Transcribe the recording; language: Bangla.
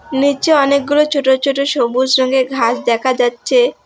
নীচে অনেকগুলো চোট চোট সবুজ রঙের ঘাস দেখা যাচ্চে।